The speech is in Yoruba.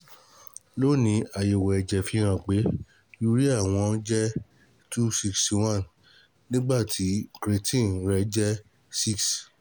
Lónìí, àyẹ̀wò ẹ̀jẹ̀ fihàn pé pcs] Urea wọ́n jẹ́ two sixty one, nígbà tí Creatine rẹ̀ sì jẹ́ six